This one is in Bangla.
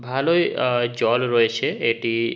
ভালই আ জল রয়েছে এটি --